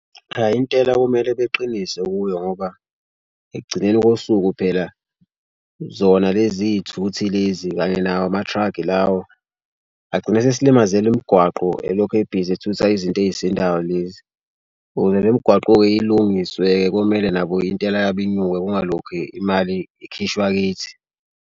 Ayi intela kumele beqinise kuyo ngoba ekugcineni kosuku phela zona lezi thuthi lezi kanye nawo ama-truck lawo agcine esesilimazela umgwaqo elokhu ebhizi ethutha izinto ezisindayo lezi. Ukuze le migwaqo-ke ilungiswe komele nabo intela yabo inyuke kungalokhe imali ikhishwa kithi.